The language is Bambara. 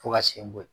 Fo ka sen bɔ